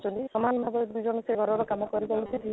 ଯାଉଛନ୍ତି ସମାନ ଭାବେ ସେ ଦୁଇ ଜଣ ଘରର କାମ କରିବା ଉଚିତ